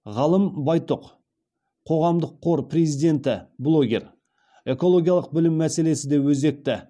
ғалым байтұқ қоғамдық қор президенті блогер экологиялық білім мәселесі де өзекті